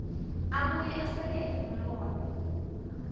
abuye esekele imibono